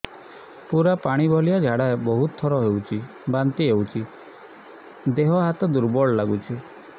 ପୁରା ପାଣି ଭଳିଆ ଝାଡା ବହୁତ ଥର ହଉଛି ବାନ୍ତି ହଉଚି ଦେହ ହାତ ଦୁର୍ବଳ ଲାଗୁଚି